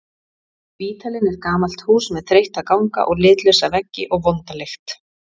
Spítalinn er gamalt hús með þreytta ganga og litlausa veggi og vonda lykt.